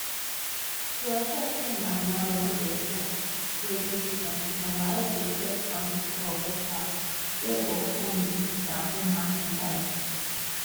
to ensure say magomago no dey for di grading system system waec dey set up committee of experts wey go come up wit di marking guide